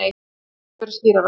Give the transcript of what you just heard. Þetta gat ekki verið skýrara.